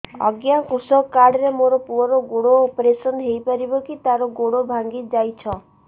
ଅଜ୍ଞା କୃଷକ କାର୍ଡ ରେ ମୋର ପୁଅର ଗୋଡ ଅପେରସନ ହୋଇପାରିବ କି ତାର ଗୋଡ ଭାଙ୍ଗି ଯାଇଛ